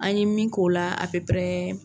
An ye min k'o la a